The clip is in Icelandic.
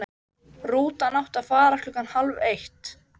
Rútan átti að fara klukkan hálf eitt.